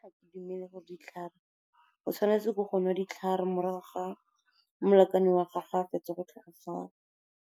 O tshwanetse ke go nwa ditlhare morago ga molekane wa gago ga a fetsa go tlhokofala.